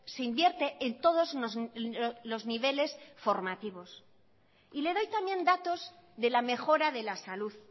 se invierte en todos los niveles formativos y le doy también datos de la mejora de la salud